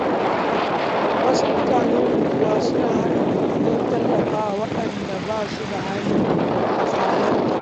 Wasu mutanen unguwa suna haɗa kuɗi don tallafa wa waɗanda ba su da hali su halarta.